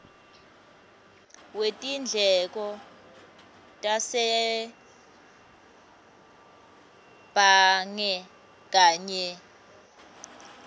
wetindleko tasebhange kanye